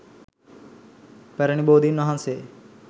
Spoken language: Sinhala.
පැරැණි බෝධින් වහන්සේ